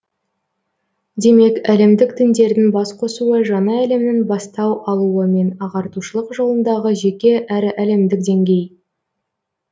демек әлемдік діндердің бас қосуы жаңа әлемнің бастау алуы мен ағартушылық жолындағы жеке әрі әлемдік деңгей